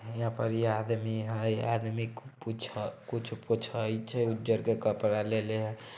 हीया पर इ आदमी हेय आदमी कुछ पूछे कुछ पीछेय छै उज्जर के कपड़ा लेले हेय।